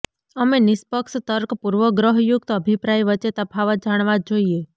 અમે નિષ્પક્ષ તર્ક પૂર્વગ્રહયુક્ત અભિપ્રાય વચ્ચે તફાવત જાણવા જ જોઈએ